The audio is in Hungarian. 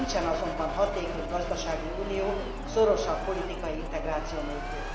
Nincsen azonban hatékony gazdasági unió szorosabb politikai integráció nélkül.